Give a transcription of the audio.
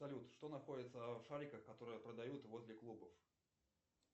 салют что находится в шариках которые продают возле клубов